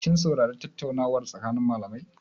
Kin saurari tattaunawar tsakanin malamai?